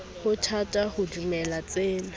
ho thata ho dumela tsena